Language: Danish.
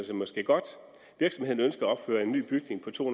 sig måske godt virksomheden ønsker at opføre en ny bygning på to